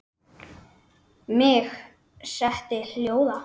Mig setti hljóða.